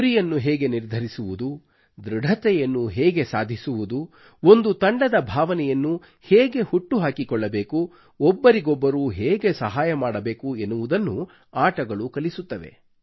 ಗುರಿಯನ್ನು ಹೇಗೆ ನಿರ್ಧರಿಸುವುದು ಧೃಡತೆಯನ್ನು ಹೇಗೆ ಸಾಧಿಸುವುದು ಒಂದು ತಂಡದ ಭಾವನೆಯನ್ನು ಹೇಗೆ ಹುಟ್ಟುಹಾಕಿಕೊಳ್ಳಬೇಕು ಒಬ್ಬರಿಗೊಬ್ಬರು ಹೇಗೆ ಸಹಾಯ ಮಾಡಬೇಕು ಎನ್ನುವುದನ್ನು ಆಟಗಳು ಕಲಿಸುತ್ತವೆ